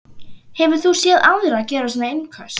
Hefur þú séð aðra gera svona innköst?